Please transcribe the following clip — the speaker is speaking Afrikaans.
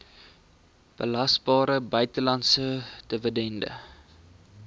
belasbare buitelandse dividend